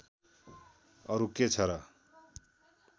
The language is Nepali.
अरू के छ र